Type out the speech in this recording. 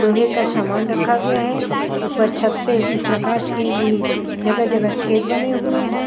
लोहे का सामान रखा गया है ऊपर छत पे प्रकाश के लिए जगह-जगह छेद बने हुए हैं।